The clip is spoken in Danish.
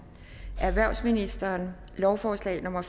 erhvervsministeren lovforslag nummer